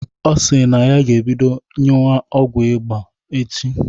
Ọ si na ọ ga-ebido ñyuwa ọgwu ịba ya echi.